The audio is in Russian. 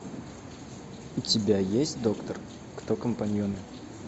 у тебя есть доктор кто компаньоны